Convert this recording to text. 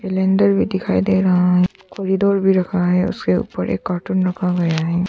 भी दिखाई दे रहा है कॉरिडोर भी रखा है उसके ऊपर एक कार्टून रखा गया है।